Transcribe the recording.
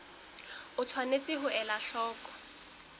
o tshwanetse ho ela hloko